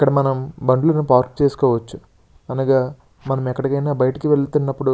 ఇక్కడ మనము బండ్లు పార్కు చేసుకోవచ్చు. అనగా మనము ఎక్కడికైనా బయటకు వెళ్తున్నప్పుడు --